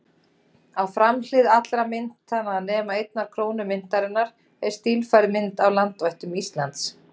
Á framhlið allra myntanna, nema einnar krónu myntarinnar, er stílfærð mynd af landvættum Íslands.